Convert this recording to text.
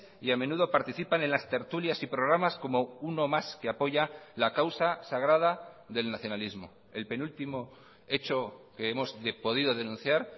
y a menudo participan en las tertulias y programas como uno más que apoya la causa sagrada del nacionalismo el penúltimo hecho que hemos podido denunciar